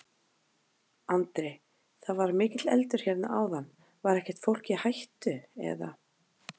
Andri: Það var mikill eldur hérna áðan, var ekkert fólk í hættu, eða?